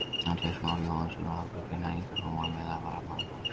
Andrés Már Jóhannesson og Albert Brynjar Ingason eru meðal varamanna hjá Fylki.